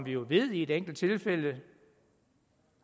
jo ved i et enkelt tilfælde